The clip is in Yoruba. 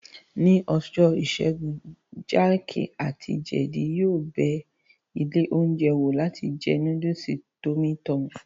Ní ọjọ́ ìṣẹ́gun, jéèkì àti jeedi yóò bẹ ilé oúnjẹ wò láti jẹ núdùsì tọ́mí tọmì